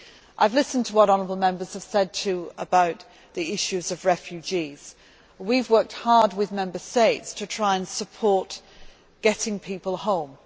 I have also listened to what honourable Members have said about the issues of refugees. We have worked hard with Member States to try and support getting people home.